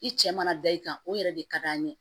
I cɛ mana da i kan o yɛrɛ de ka d'an ye